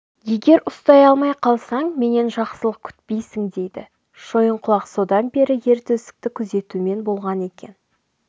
егер ұстай алмай қалсаң менен жақсылық күтпейсің дейді шойынқұлақ содан бері ер төстікті күзетумен болған екен